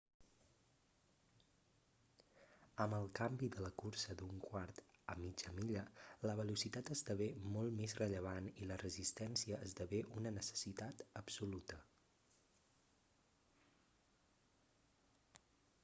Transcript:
amb el canvi de la cursa d'un quart a mitja milla la velocitat esdevé molt més rellevant i la resistència esdevé una necessitat absoluta